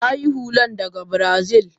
ta sayi hullan daga Brazil.